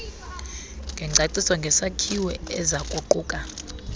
ngengcaciso ngesakhiwo ezakuquka